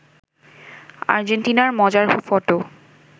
আর্জেন্টিনার মজার ফটো